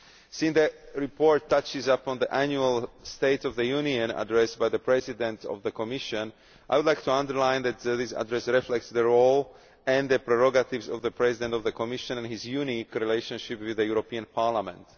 Since the report touches upon the annual state of the Union address by the President of the Commission, I would like to emphasise that this address reflects the role and prerogatives of the President of the Commission and his unique relationship with the European Parliament.